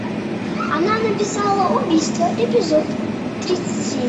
она написала убийство эпизод тридцать семь